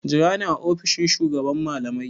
Jira ni a ofishin shugaban malamai!